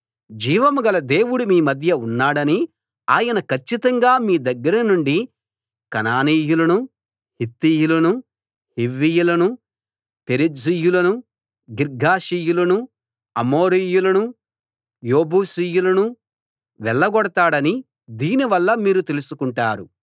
జీవం గల దేవుడు మీ మధ్య ఉన్నాడనీ ఆయన కచ్చితంగా మీ దగ్గరనుండి కనానీయులనూ హిత్తీయులనూ హివ్వీయులనూ పెరిజ్జీయులనూ గిర్గాషీయులనూ అమోరీయులనూ యెబూసీయులనూ వెళ్ళగొడతాడని దీని వల్ల మీరు తెలుసుకుంటారు